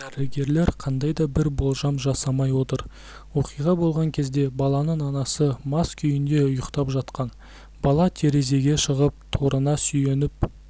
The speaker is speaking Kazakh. дәрігерлер қандай да бір болжам жасамай отыр оқиға болған кезде баланың анасы мас күйінде ұйықтап жатқан бала терезеге шығып торына сүйеніп